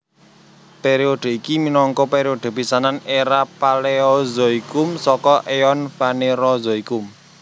Période iki minangka période pisanan éra Paleozoikum saka eon Fanerozoikum